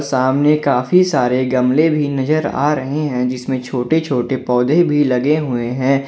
सामने काफी सारे गमले भी नजर आ रहे हैं जिसमें छोटे छोटे पौधे भी लगे हुए हैं।